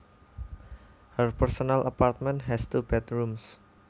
Her personal apartment has two bedrooms